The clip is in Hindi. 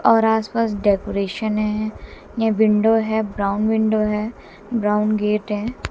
और आसपास डेकोरेशन है। ये विंडो है ब्राउन विंडो है। ब्राउन गेट है।